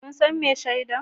Kun san mai shaida?